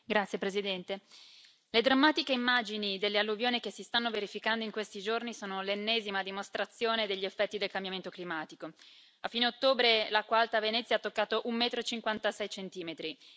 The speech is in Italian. Signora Presidente, onorevoli colleghi, le drammatiche immagini delle alluvioni che si stanno verificando in questi giorni sono l'ennesima dimostrazione degli effetti del cambiamento climatico. A fine ottobre l'acqua alta a Venezia ha toccato un metro e 56 centimetri.